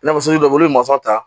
Nafolo bɛ wele olu bɛ ta